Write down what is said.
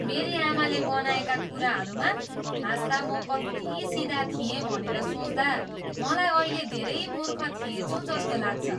मेरी आमाले बनाएका कुराहरूमा हाँस्दा म कति सिधा थिएँ भनेर सोच्दा मलाई अहिले धेरै मूर्ख थिएँछु जस्तो लाग्छ।